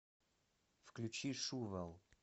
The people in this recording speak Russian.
включи шувал